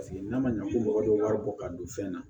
Paseke n'a ma ɲɛ ko mɔgɔ bɛ wari bɔ ka don fɛn na